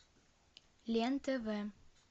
лен тв